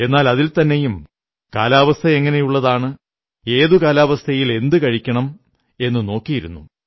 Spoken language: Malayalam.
എന്നാൽ അതിൽത്തന്നെയും കാലാവസ്ഥ എങ്ങനെയുള്ളതാണ് ഏതു കാലാവസ്ഥയിൽ എന്തു കഴിക്കണം എന്നു നോക്കിയിരുന്നു